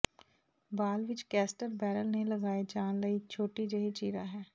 ਬਾਲ ਵਿੱਚ caster barrel ਤੇ ਲਗਾਏ ਜਾਣ ਲਈ ਇੱਕ ਛੋਟੀ ਜਿਹੀ ਚੀਰਾ ਹੈ